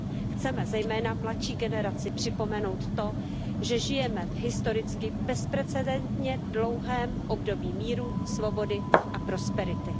Chceme zejména mladší generaci připomenout to, že žijeme v historicky bezprecedentně dlouhém období míru, svobody a prosperity.